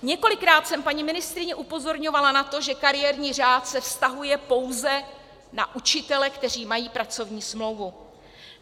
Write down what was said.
Několikrát jsem paní ministryni upozorňovala na to, že kariérní řád se vztahuje pouze na učitele, kteří mají pracovní smlouvu.